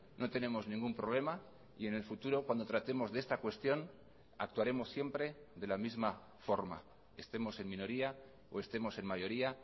no tenemos ningún problema y en el futuro cuando tratemos de esta cuestión actuaremos siempre de la misma forma estemos en minoría o estemos en mayoría